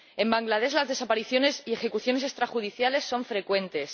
En Bangladés las desapariciones y ejecuciones extrajudiciales son frecuentes.